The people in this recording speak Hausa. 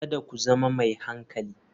Kada ku zama mai hankali.